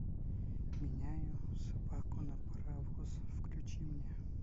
меняю собаку на паровоз включи мне